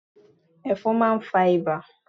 Ẹfọ̀n máà ń fa ibà